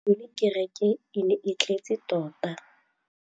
Gompieno kêrêkê e ne e tletse tota.